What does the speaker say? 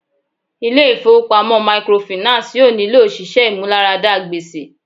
Ilé ifowopamọ microfinance yóò nílò òṣìṣẹ́ ìmúláradá gbèsè.